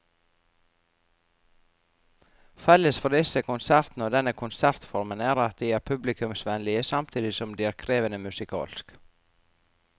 Felles for disse konsertene og denne konsertformen er at de er publikumsvennlige samtidig som de er krevende musikalsk.